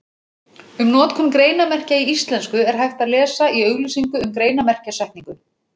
Um notkun greinarmerkja í íslensku er hægt að lesa í auglýsingu um greinarmerkjasetningu.